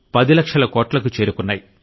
10 లక్షల కోట్లకు చేరుకున్నాయి